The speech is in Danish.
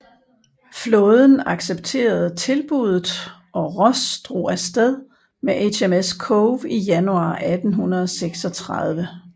Flåden accepterede tilbuddet og Ross drog afsted med HMS Cove i januar 1836